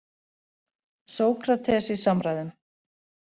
Sókrates í samræðum.